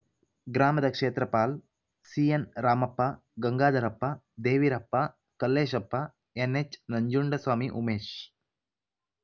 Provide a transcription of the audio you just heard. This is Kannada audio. ಗ್ರಾಮದ ಕ್ಷೇತ್ರಪಾಲ್‌ ಸಿಎನ್‌ ರಾಮಪ್ಪ ಗಂಗಾಧರಪ್ಪ ದೇವಿರಪ್ಪ ಕಲ್ಲೇಶಪ್ಪ ಎನ್‌ಎಚ್‌ ನಂಜುಂಡಸ್ವಾಮಿ ಉಮೇಶ್‌